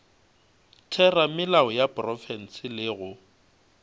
theramelao ya profense le go